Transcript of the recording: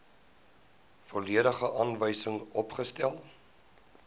volledige aanwysings opgestel